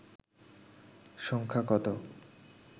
সংখ্যা কত